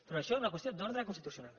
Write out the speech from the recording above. però això és una qüestió d’ordre constitucional